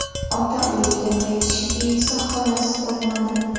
Ota uyiga qaytishiga esa xolasi qo‘ymadi.